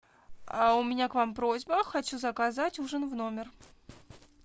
а у меня к вам просьба хочу заказать ужин в номер